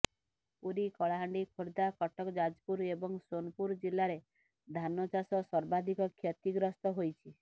ପୁରୀ କଳାହାଣ୍ଡି ଖୋର୍ଦ୍ଧା କଟକ ଯାଜପୁର ଏବଂ ସୋନପୁର ଜିଲ୍ଲାରେ ଧାନ ଚାଷ ସର୍ବାଧିକ କ୍ଷତିଗ୍ରସ୍ତ ହୋଇଛି